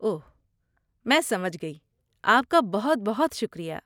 اوہ، میں سمجھ گئی۔ آپ کا بہت بہت شکریہ۔